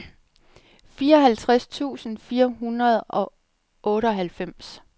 fireoghalvtreds tusind fire hundrede og otteoghalvfems